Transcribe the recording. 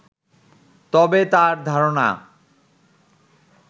তবে তাঁর ধারণা